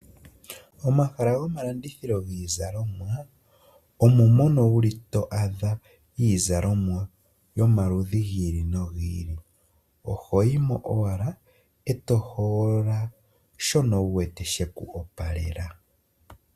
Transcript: Momahala gomalandithilo giizalomwa ohamu adhika iizalomwa yomaludhi gi ili nogi ili, ohoyi mo owala eto hogolola shono wu wete sheku opalela.